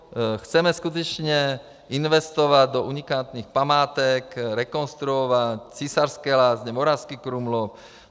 Chceme skutečně investovat do unikátních památek, rekonstruovat Císařské lázně, Moravský Krumlov.